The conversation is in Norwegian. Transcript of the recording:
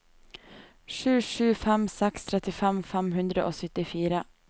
sju sju fem seks trettifem fem hundre og syttifire